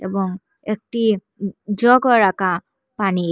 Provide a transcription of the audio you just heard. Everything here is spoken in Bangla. এবং একটি জগও রাকা পানির।